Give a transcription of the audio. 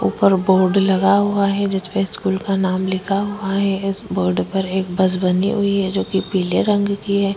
ऊपर बोर्ड लगा हुआ हैं जिसमे स्कूल का नाम लिखा हुआ हैं इसमे एक बस बनी हुई हैं जो पीले रंग की हैं।